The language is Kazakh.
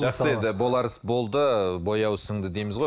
жақсы енді болар іс болды бояуы сіңді дейміз ғой